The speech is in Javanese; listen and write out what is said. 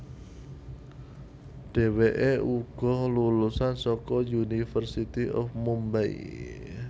Dheweké uga lulusan saka University of Mumbay